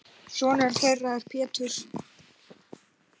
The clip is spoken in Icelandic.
Sonur þeirra er Pétur.